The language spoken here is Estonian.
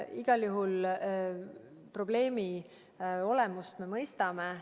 Igal juhul probleemi olemust me mõistame.